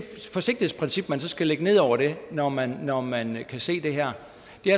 forsigtighedsprincip man så skal lægge ned over det når man når man kan se det her